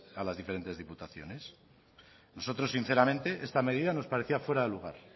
a las diferentes diputaciones a nosotros sinceramente esta medida nos parecía fuera de lugar